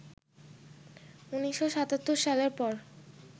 ১৯৭৭ সালের পর